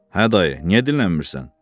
Hə, dayı, niyə dillənmirsən?